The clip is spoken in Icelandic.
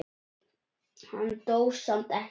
Hann dó samt ekki.